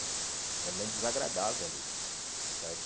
É um momento desagradável ali, certo?